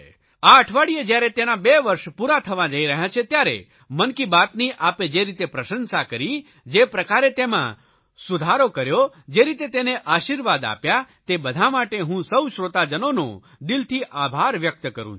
આ અઠવાડિયે જયારે તેના બે વર્ષ પૂરા થવા જઇ રહ્યા છે ત્યારે મન કી બાતની આપે જે રીતે પ્રશંસા કરી જે પ્રકારે તેમાં સુધારો કર્યો જે રીતે તેને આશીર્વાદ આપ્યા તે બધા માટે હું સૌ શ્રોતાજનોનો દિલથી આભાર વ્યકત કરૂં છું